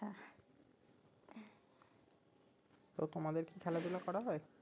তো তোমাদের কি খেলাধুলো করা হয়